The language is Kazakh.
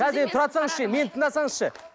қазір енді тұра тұрсаңызшы енді мені тыңдасаңызшы